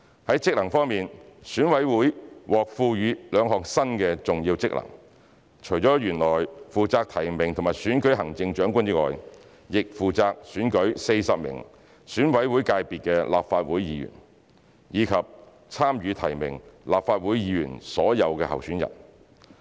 在職能方面，選委會獲賦予兩項新的重要職能，除了原來負責提名和選舉行政長官外，亦負責選舉40名選委會界別的立法會議員，以及參與提名立法會議員所有候選人。